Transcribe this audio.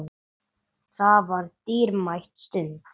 Það var dýrmæt stund.